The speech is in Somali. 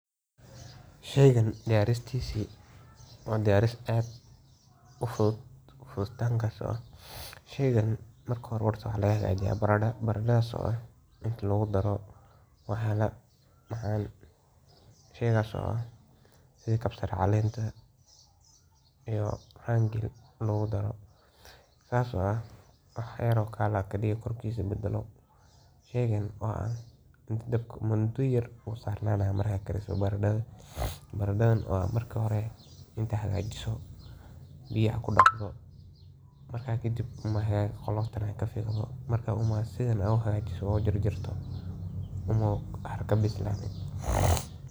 Sheygan diyarintisa marka hore ,"Baradadu waa khudaar caan ah oo laga sameeyo cuntooyin kala duwan, waxaana diyaarinteedu ku xirnaan kartaa sida loo doonayo in loo karsado. Marka la diyaarinayo baradada, waxaa marka hore la dhaqaa si wasakhda uga baxdo, ka dibna la diiraa.